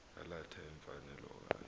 yalatha imfanelo okanye